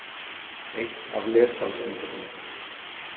Eitt af lessalseintökunum.